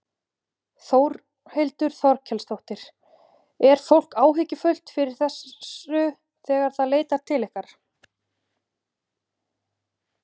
Þórhildur Þorkelsdóttir: Er fólk áhyggjufullt yfir þessu þegar það leitar til ykkar?